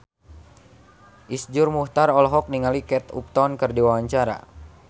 Iszur Muchtar olohok ningali Kate Upton keur diwawancara